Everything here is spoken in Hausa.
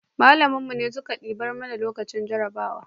malamin mu ne suke duba mu lokacin jarabawa